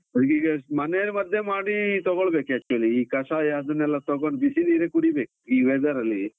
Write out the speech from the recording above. ನಂಗೀಗ ಮನೇಲಿ ಮದ್ದೇ ಮಾಡಿ ತೊಗೊಳ್ಬೇಕು actually , ಈ ಕಷಾಯ ಅದನ್ನೆಲ್ಲಾ ತೊಗೊಂಡು ಬಿಸಿ ನೀರೆ ಕುಡಿಬೇಕು ಈ weather ಅಲ್ಲಿ.